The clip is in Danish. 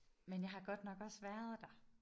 Men jeg har godt nok også været der